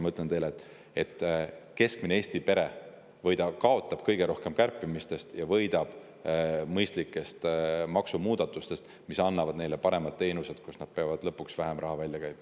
Ma ütlen teile, et keskmine Eesti pere kaotab kõige rohkem kärpimisest ja võidab mõistlikest maksumuudatustest, mis annavad paremad teenused, mille eest peab lõpuks vähem raha välja käima.